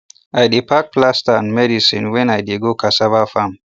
i dey pack plaster and medicine when i dey go cassava farm